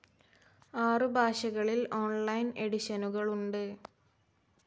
ആറു ഭാഷകളിൽ ഓൺലൈൻ എഡിഷനുകളുണ്ട്.